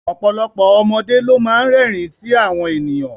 Ọ̀pọ̀lọpọ̀ ọmọdé ló má ń rẹ́rìn ín sí àwọn ènìyàn